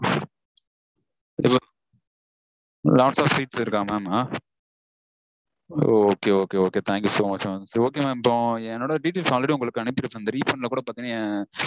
இப்போ lots of seats இருக்கா mam? ஓ Okay okay thank you so much mam. இப்போ என்னோட details already உங்களுக்கு அனுப்பிருப்பேன் இந்த refund -ல கூட பாத்தீங்கனா